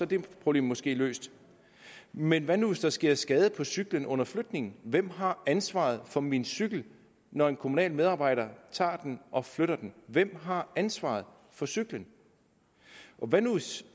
det problem måske løst men hvad nu hvis der sker skade på cyklen under flytningen hvem har ansvaret for min cykel når en kommunal medarbejder tager den og flytter den hvem har ansvaret for cyklen hvad nu hvis